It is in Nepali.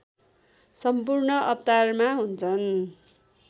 सम्पूर्ण अवतारमा हुन्छन्